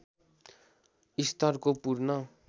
स्तरको पूर्ण